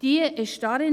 Diese